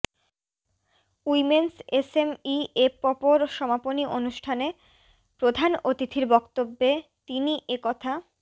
women's SME এপপোর সমাপনী অনুষ্ঠানে প্রধান অতিথির বক্তব্যে তিনি এ কথা